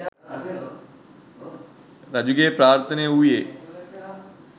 රජුගේ ප්‍රාර්ථනය වූයේ